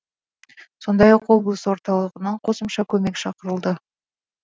сондай ақ облыс орталығынан қосымша көмек шақырылды